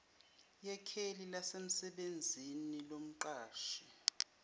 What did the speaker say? yekheli lasemsebenzini lomqashi